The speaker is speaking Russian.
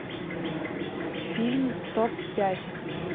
фильм топ пять